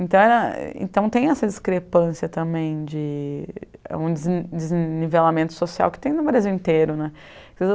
Então era, então tem essa discrepância também de um des desnivelamento social que tem no Brasil inteiro né.